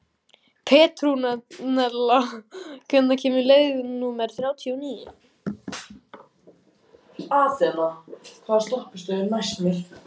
Petrúnella, hvenær kemur leið númer þrjátíu og níu?